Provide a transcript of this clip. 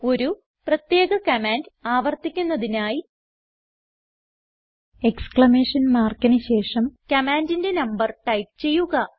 ഒരു പ്രത്യേക കമാൻഡ് ആവർത്തിക്കുന്നതിനായി എക്സ്ക്ലമേഷൻ മാർക്കിന് ശേഷം കമാൻഡിന്റെ നമ്പർ ടൈപ്പ് ചെയ്യുക